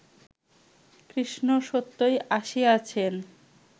কৃষ্ণ সত্যই আসিয়াছেন